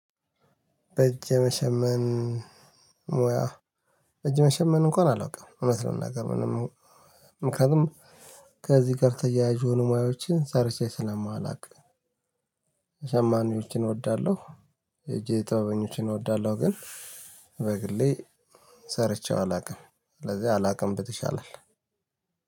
በእጅ መሸመን ሙያ በእጅ መሸመን እንኳን አላውቅም እውነት ለመናገር ምንም ምክንያቱም ከዚህ ጋር ተያያዥ የሆኑ ሙያዎችን ሰርቼ ስለማላውቅ። ሸማኔዎችን እወዳለሁ የእጅ ጥበበኞችን እወዳለሁ። ግን በግሌ ሰርቼ አላቅም ሰለዚህ አላቅም ብል ይሻላል።